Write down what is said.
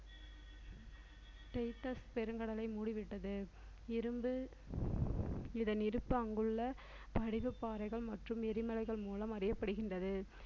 பெருங்கடலை மூடிவிட்டது இரும்பு இதன் இருப்பு அங்குள்ள படிவுப் பாறைகள் மற்றும் எரிமலைகள் மூலம் அறியப்படுகின்றது